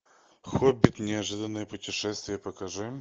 хоббит неожиданное путешествие покажи